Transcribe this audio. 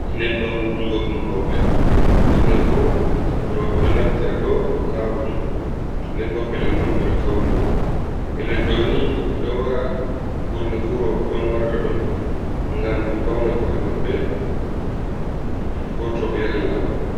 Nyebban wujugo ɗum roɓe ɓurna fu roɓe ɗo naftira ɗum ha wujugo. Nden bo pellel man ɓe ɗo fauni. Pellel ɗo ni himɓe do wara ɓurna fu roɓe on warata ɗo ngam ɓe fawna ko'e maɓɓe ko to be yahan lamar.